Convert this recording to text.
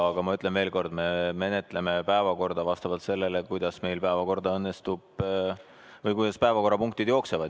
Aga ma ütlen veel kord, et me menetleme päevakorda vastavalt sellele, kuidas meil päevakorrapunktid jooksevad.